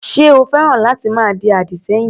Ṣé o féràn láti máa di àdì sẹ́yìn?